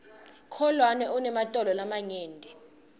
kholwane unematolo lamanyenti